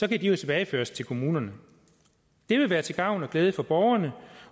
de tilbageføres til kommunerne det vil være til gavn og glæde for borgerne